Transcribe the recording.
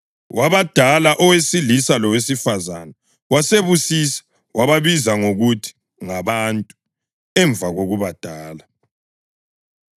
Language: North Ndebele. Wabadala, owesilisa lowesifazane wasebabusisa. Wababiza ngokuthi “Ngabantu” emva kokubadala.